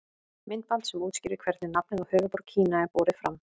Myndband sem útskýrir hvernig nafnið á höfuðborg Kína er borið fram.